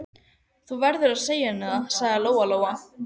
Þú verður að segja henni það, sagði Lóa-Lóa.